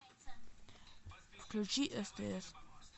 включи стс